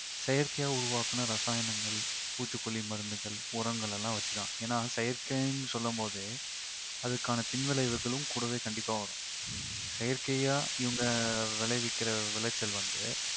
செயற்கையா உருவாக்குன இரசாயனங்கள், பூச்சிக்கொல்லி மருந்துகள், உரங்களெல்லாம் வெச்சிதான். ஏன்னா செயற்கைன்னு சொல்லும்போதே அதற்கான பின்விளைவுகளும் கூடவே கண்டிப்பா வரும். செயற்கையா இவங்க விளைவிக்கிற விளைச்சல் வந்து